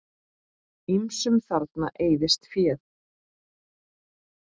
Ýmsum þarna eyðist féð.